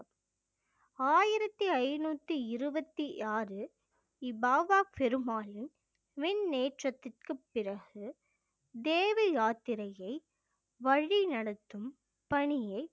ஆயிரத்தி ஐநூத்தி இருவத்தி ஆறு பாபா பெருமாலின் விண்ணேற்றத்திற்கு பிறகு தேவி யாத்திரையை வழிநடத்தும் பணியை